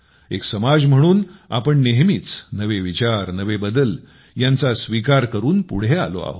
एक समाज म्हणून आपण नेहमीच नवे विचार नवे बदल यांचा स्वीकार करून पुढे आलो आहोत